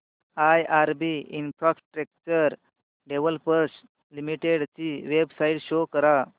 IRB infrastructure developers limited ची website show करा